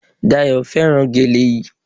Dayò fẹ́ràn gèlè yí